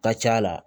Ka ca la